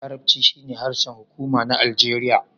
Larabci shine harshen hukuma na Aljeriya.